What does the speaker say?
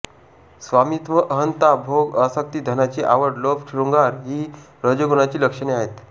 स्वामित्त्व अहंता भोग आसक्ती धनाची आवड लोभ शृंगार ही रजोगुणाची लक्षणे आहेत